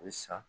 A bɛ san